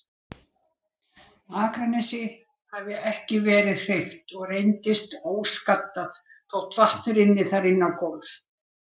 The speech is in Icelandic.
Akranesi, hafði ekki verið hreyft og reyndist óskaddað þó vatn rynni þar inná gólf.